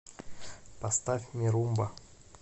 поставь ми румба